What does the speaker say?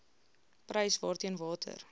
prys waarteen water